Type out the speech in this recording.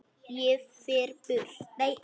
Ég fer burt.